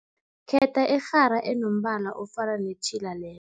Khetha irhara enombala ofana netjhila le